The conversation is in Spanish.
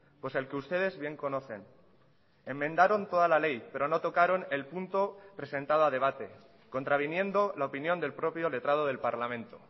pues el que ustedes bien conocen enmendaron toda la ley pero no tocaron el punto presentado a debate contraviniendo la opinión del propio letrado del parlamento